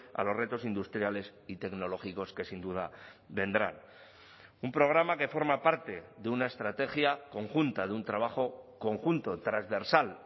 a los retos industriales y tecnológicos que sin duda vendrán un programa que forma parte de una estrategia conjunta de un trabajo conjunto transversal